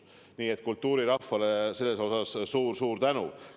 Nii et kultuurirahvale selle eest suur-suur tänu!